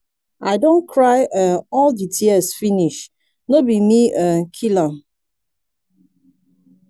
i don cry um all the tears finish no be me um kill am.